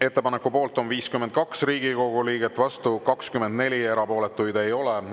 Ettepaneku poolt on 52 Riigikogu liiget, vastu 24, erapooletuid ei ole.